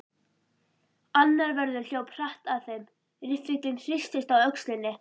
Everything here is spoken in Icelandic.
Annar vörður hljóp hratt að þeim, riffillinn hristist á öxlinni.